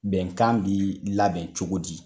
Bɛnkan bi labɛn cogo di